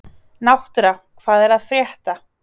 Náttúra, hvað er að frétta?